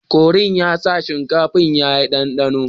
Knorr din ya sa shinkafar ya yi ɗanɗano